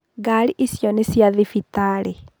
Ngarĩ icio nĩ cĩa thibitarĩ.